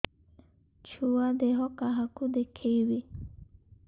ଛୁଆ ଦେହ କାହାକୁ ଦେଖେଇବି